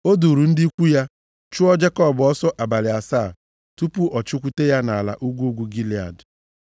O duuru ndị ikwu ya chụọ Jekọb ọsọ abalị asaa tupu ọ chụkwute ya nʼala ugwu ugwu Gilead.